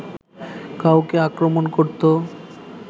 কাউকে আক্রমণ করতো